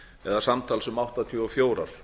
eða samtals um áttatíu og fjögur